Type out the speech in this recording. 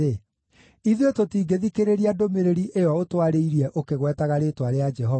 “Ithuĩ tũtingĩthikĩrĩria ndũmĩrĩri ĩyo ũtwarĩirie ũkĩgwetaga rĩĩtwa rĩa Jehova!